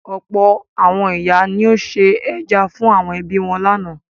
Ọ̀pọ̀ àwọn ìyá ni ó se ẹja fún àwọn ẹbí wọn lánàá.